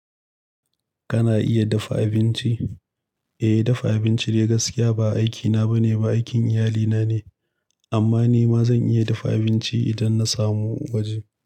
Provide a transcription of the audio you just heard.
Kana iya dafa abinci? Eh, dafa abinci dai gaskiya ba aikina ba ne, ba aikin iyalina ne. Amma ni ma zan iya dafa abinci idan na samu waje.